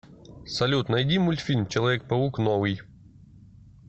салют найди мультфильм человек паук новый